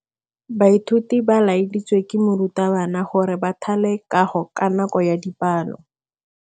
Baithuti ba laeditswe ke morutabana gore ba thale kagô ka nako ya dipalô.